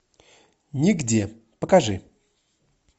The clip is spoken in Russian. нигде покажи